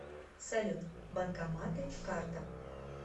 салют банкоматы карта